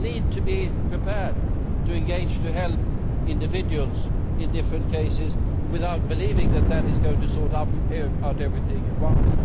We need to be prepared to engage, to help individuals in different cases, without believing that that is going to sort out everything at once.